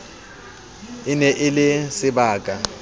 e ne e le sebaka